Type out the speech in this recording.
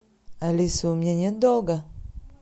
алиса у меня нет долга